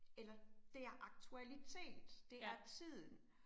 Eller det er aktualitet, det er tiden